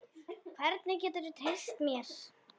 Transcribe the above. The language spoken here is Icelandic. Hvernig geturðu treyst mér?